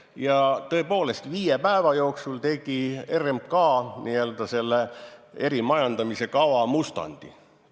Ja tõepoolest, viie päeva jooksul tegi RMK selle erimajandamise kava mustandi.